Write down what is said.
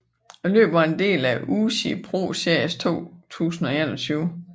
Løbet var en del af UCI ProSeries 2021